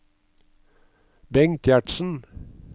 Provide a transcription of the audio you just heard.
Bengt Gjertsen